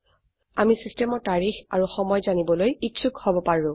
আমি সিস্টেমৰ তাৰিখ আৰু সময় জানিবলৈ ইচ্ছোক হব পাৰো